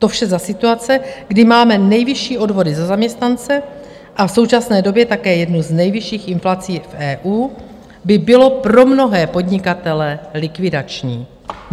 To vše za situace, kdy máme nejvyšší odvody za zaměstnance a v současné době také jednu z nejvyšších inflací v EU, by bylo pro mnohé podnikatele likvidační.